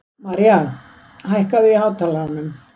Maria, hækkaðu í hátalaranum.